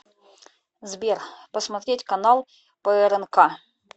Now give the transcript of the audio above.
сбер посмотреть канал прнк